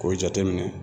K'o jate minɛ